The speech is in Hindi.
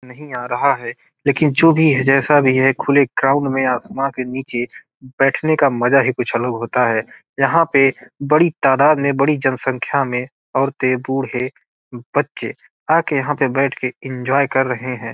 नहीं आ रहा है लेकिन जो भी है जैसा भी है खुले ग्राउंड में आसमान के नीचे बैठने का मजा ही कुछ अलग होता है यहाँ पे बड़ी तादात में बड़ी जनसंख्या में औरतें बूढ़े बच्चे आ के यहाँ बैठ के एन्जॉय कर रहे हैं।